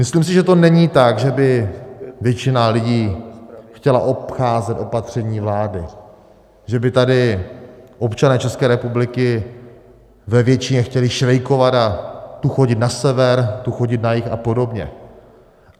Myslím si, že to není tak, že by většina lidí chtěla obcházet opatření vlády, že by tady občané České republiky ve většině chtěli švejkovat a tu chodit na sever, tu chodit na jih a podobně.